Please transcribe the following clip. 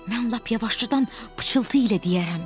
Mən lap yavaşcadan pıçıltı ilə deyərəm.